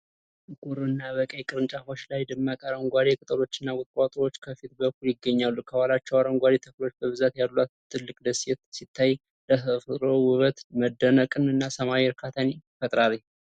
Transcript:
በጥቁር እና በቀይ ቅርንጫፎች ላይ ደማቅ አረንጓዴ ቅጠሎችና ቁጥቋጦዎች ከፊት በኩል ይገኛሉ። ከኋላቸው አረንጓዴ ተክሎች በብዛት ያሏት ትልቅ ደሴት ሲታይ፣ ለተፈጥሮ ውበት መደነቅን እና ሰላማዊ እርካታን ይፈጥራል።